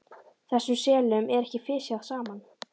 Þessum selum er ekki fisjað saman.